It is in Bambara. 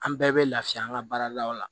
An bɛɛ bɛ lafiya an ka baaradaw la